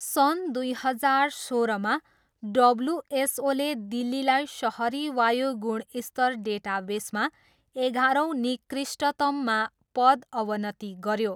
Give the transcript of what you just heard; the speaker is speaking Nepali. सन् दुई हजार सोह्रमा, डबल्युएसओले दिल्लीलाई सहरी वायु गुणस्तर डेटाबेसमा एघारौँ निकृष्टतममा पद अवनति गऱ्यो।